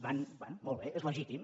bé molt bé és legítim